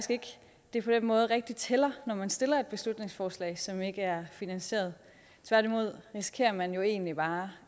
det på den måde rigtigt tæller når man stiller et beslutningsforslag som ikke er finansieret tværtimod risikerer man jo egentlig bare